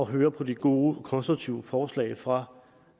høre på de gode og konstruktive forslag fra